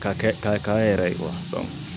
Ka kɛ ka k'an yɛrɛ ye